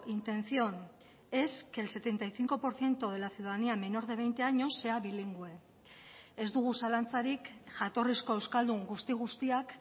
intención es que el setenta y cinco por ciento de la ciudadanía menor de veinte años sea bilingüe ez dugu zalantzarik jatorrizko euskaldun guzti guztiak